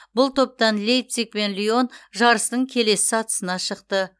бұл топтан лейпциг пен лион жарыстың келесі сатысына шықты